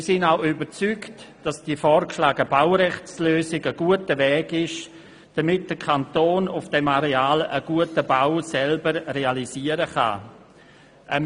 Wir sind auch überzeugt, dass die vorgeschlagene Baurechtslösung ein guter Weg ist, damit der Kanton auf diesem Areal selber einen guten Bau realisieren kann.